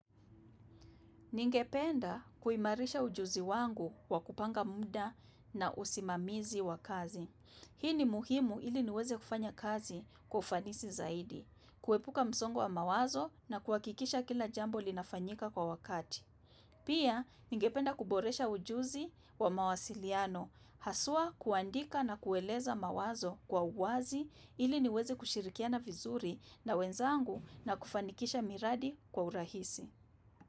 Ningependa kuimarisha ujuzi wangu kwa kupanga muda na usimamizi wa kazi. Hii ni muhimu ili niweze kufanya kazi kwa ufanisi zaidi, kuepuka msongo wa mawazo na kuhakikisha kila jambo linafanyika kwa wakati. Pia, ningependa kuboresha ujuzi wa mawasiliano, haswa kuandika na kueleza mawazo kwa uwazi ili niweze kushirikiana vizuri na wenzangu na kufanikisha miradi kwa urahisi.